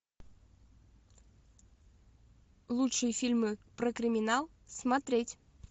лучшие фильмы про криминал смотреть